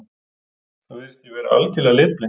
Það virðist því vera algjörlega litblint.